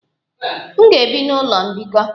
M ga-ebi n'ụlọ mbikọ.